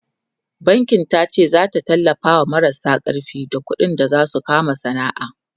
bankin tace zata tallafawa marasa karfi da ƙuɗi Dan su kama sana'a